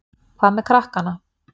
Hvað með krakkana?